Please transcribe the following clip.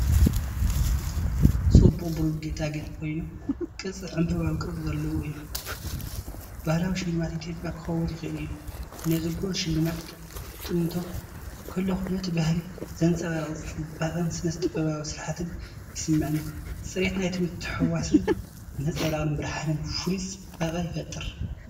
ጽቡቕ ብሩር ጌጣጌጥ ኮይኑ፡ ቅርጺ ዕምባባዊ ቅርጺ ዘለዎን እዩ። ባህላዊ ሽልማት ኢትዮጵያ ክኸውን ይኽእል እዩ። ነዚ ብሩር ስልማት ክጥምቶ ከለኹ፡ ነቲ ባህሊ ዘንጸባርቕ ጽባቐን ስነ-ጥበባዊ ስርሓትን ይስምዓኒ። ጽሬት ናይቲ ምትሕውዋስን ነጸብራቕ ብርሃንን ፍሉይ ጽባቐ ይፈጥር።